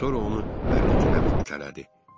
Sonra onu ərinə tərəf itələdi.